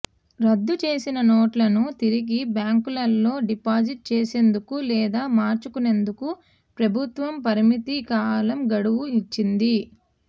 రద్దు చేసిన నోట్లను తిరిగి బ్యాంకులలో డిపాజిట్ చేసేందుకు లేదా మార్చుకునేందుకు ప్రభుత్వం పరిమిత కాలం గడువు ఇచ్చింది